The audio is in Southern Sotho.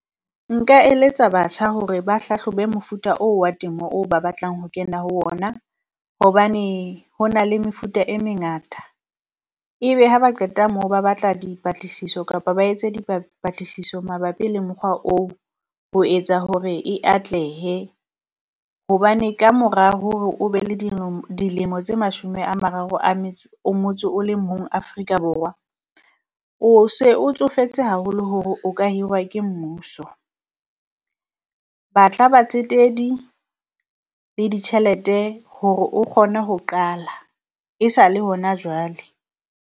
Nka eletsa batjha hore ba hlahlobe mofuta oo wa temo oo ba batlang ho kena ho ona, hobane hona le mefuta e mengata. Ebe ha ba qeta moo ba batla dipatlisiso kapa ba etse di patlisiso mabapi le mokgwa oo ho etsa hore e atlehe. Hobane kamora hore o be le dilemo tse mashome a mararo a metso o motsho le mong Afrika Borwa, o se o tsofetse haholo hore o ka hirwa ke mmuso. Batla batsetedi le ditjhelete hore o kgone ho qala e sa le hona jwale.